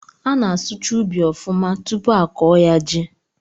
A na-asụcha ụbị ọfụma tụpụ a kọọ ya ji